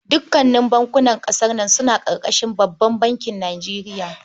Dukanin bankunan ƙasar nan suna ƙarƙashin babban bankin Nijeriya.